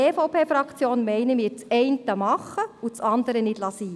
Die EVP-Fraktion will das eine tun und das andere nicht lassen.